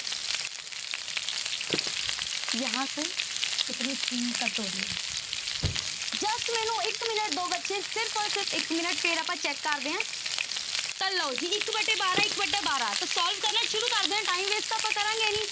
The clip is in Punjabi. ਜਹਾਂਂ ਸੇ ਇਤਨੀ screen ਕੱਟ ਹੋ ਰਹੀ ਹੈ just ਮੈਨੂੰ ਇਕ minute ਦਓ ਬੱਚੇ ਸਿਰਫ਼ ਔਰ ਸਿਰਫ਼ minute ਫਿਰ ਆਪਾਂ check ਕਰਦੇ ਹਾਂ ਤਾਂ ਲਓ ਜੀ ਇੱਕ ਵਟੇ ਬਾਰਾਂ ਇੱਕ ਵਟਾ ਬਾਰਾਂ ਤਾਂ solve ਕਰਨਾ ਸ਼ੁੁਰੂ ਕਰਦੇ ਹਾਂ time waste ਤਾਂ ਆਪਾਂ ਕਰਾਂਗੇ ਨੀ।